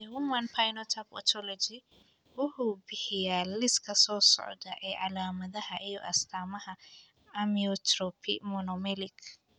The Human Phenotype Ontology wuxuu bixiyaa liiska soo socda ee calaamadaha iyo astaamaha amyotrophy monomelic.